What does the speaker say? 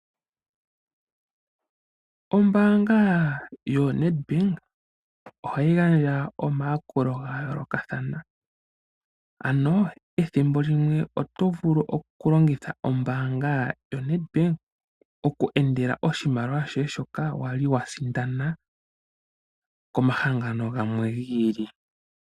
Ombaanga yoNedbank ohayi gandja omayakulo ga yoolokathana, ano ethimbo limwe oto vulu okulongitha ombaanga yoNedbank oku endela oshimaliwa shoye shoka wa li wa sindana komahangano gamwe gi ili.